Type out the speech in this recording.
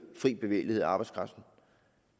fri bevægelighed af arbejdskraften